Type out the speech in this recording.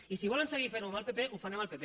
i si volen seguir fent ho amb el pp ho fan amb el pp